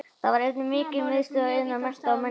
Þar var einnig mikil miðstöð iðnaðar, mennta og menningar.